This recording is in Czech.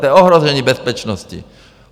To je ohrožení bezpečnosti.